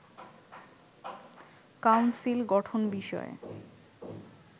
council গঠন বিষয়ে